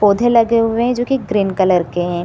पौधे लगे हुवे हैं जो की ग्रीन कलर के हैं।